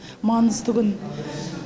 маңызды күн